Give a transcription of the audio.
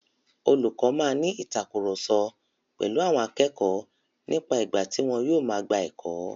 Olùkọ máa ní ìtàkurọ̀sọ pèlu àwọn akẹ́kọ̀ọ́ nípa ìgbà tí wọn yóò máa gba ẹ̀kọ́.